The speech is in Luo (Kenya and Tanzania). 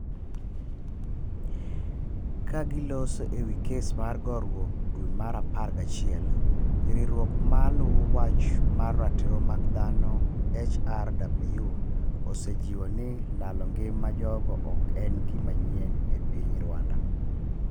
ka giloso e wi kes mar gorwok dwe mar apar ga chiel. riwruok ma luwo wach mar ratiro mag dhano (HRW). osejiwo ni lalo ngima jogo ok en gima nyien e piny Rwanda